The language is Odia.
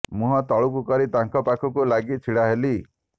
ମୁହଁ ତଳକୁ କରି ତାଙ୍କ ପାଖକୁ ଲାଗି ଛିଡ଼ା ହେଲି